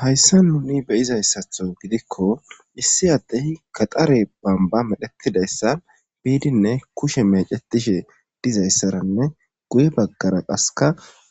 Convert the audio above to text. Hayssa nuni beyizayssatho gidikko issi addehi kaxare bamba medhetidayssa biidinne kushe mecetishe dizayssaranne guye baggara qaseka